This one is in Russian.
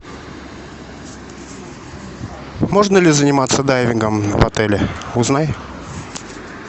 можно ли заниматься дайвингом в отеле узнай